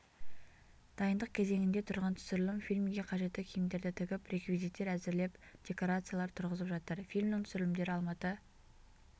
дайындық кезеңінде тұрған түсірілім фильмге қажетті киімдерді тігіп реквизиттер әзірлеп декорациялар түрғызып жатыр фильмнің түсірілімдері алматы